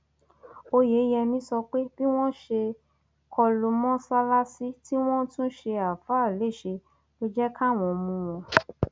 óyeyẹmí sọ pé bí wọn ṣe kọ lu mọsálásì tí wọn tún ṣe ááfàá léṣe ló jẹ káwọn mú wọn